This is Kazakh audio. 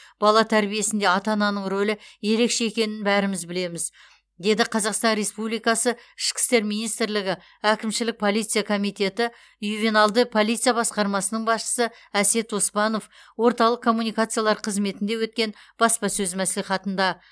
бала тәрбиесінде ата ананың рөлі ерекше екенін бәріміз білеміз деді қазақстан республикасы ішкі істер министрлігі әкімшілік полиция комитеті ювеналды полиция басқармасының басшысы әсет оспанов орталық коммуникациялар қызметінде өткен баспасөз мәслихатында